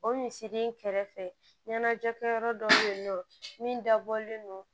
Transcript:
O misiri in kɛrɛfɛ ɲɛnajɛkɛyɔrɔ dɔw bɛ yen nɔ min dabɔlen don